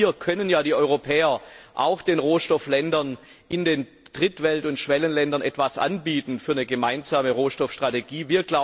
Genau hier können die Europäer auch den Rohstofflieferanten in den Drittwelt und Schwellenländern etwas anbieten im Rahmen einer gemeinsamen Rohstoffstrategie.